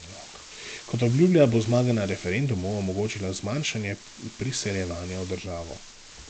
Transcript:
Kot obljublja, bo zmaga na referendumu omogočila zmanjšanje priseljevanja v državo.